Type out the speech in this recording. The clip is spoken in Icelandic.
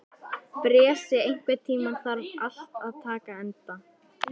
Bresi, einhvern tímann þarf allt að taka enda.